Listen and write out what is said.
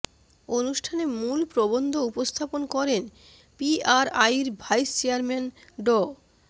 অনুষ্ঠানে মূল প্রবন্ধ উপস্থাপন করেন পিআরআইর ভাইস চেয়ারম্যান ড